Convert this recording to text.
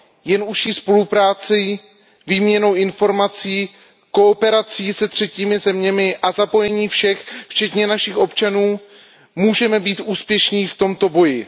Jen užší spoluprací, výměnou informací, kooperací se třetími zeměmi a zapojením všech, včetně našich občanů, můžeme být úspěšní v tomto boji.